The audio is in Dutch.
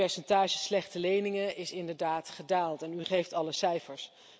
Het percentage slechte leningen is inderdaad gedaald en u geeft alle cijfers.